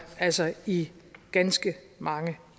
altså i ganske mange